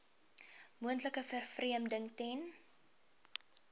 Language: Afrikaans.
moontlike vervreemding ten